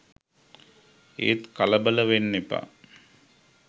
ඒත් කලබල වෙන්න එපා